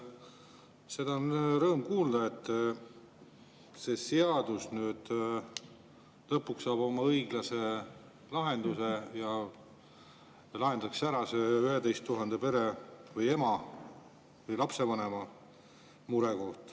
Seda on rõõm kuulda, et see seadus nüüd lõpuks saab oma õiglase lahenduse ja lahendatakse ära see 11 000 pere või ema või lapsevanema mure.